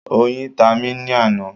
Oyin ta mí ní àná